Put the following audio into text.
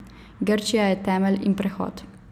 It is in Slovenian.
Grčija je temelj in prehod.